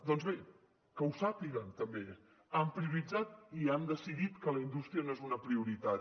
doncs bé que ho sàpiguen també han prioritzat i han decidit que la indústria no és una prioritat